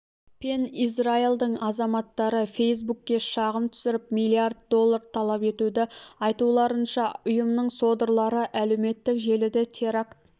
пен израильдің азаматтары фейсбукке шағым түсіріп миллиард доллар талап етуде айтуларынша ұйымының содырлары әлеуметтік желіде теракт